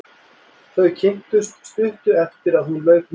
Þau kynntust stuttu eftir að hún lauk námi.